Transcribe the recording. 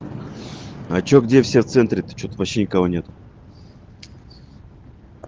а что где все в центре а то что-то вообще никого нету